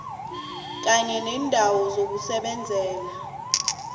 kanye neendawo zokusebenzela